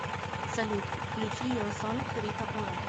салют включи ер сонг рита ора